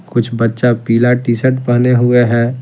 कुछ बच्चा पीला टी शर्ट पहने हुए हैं।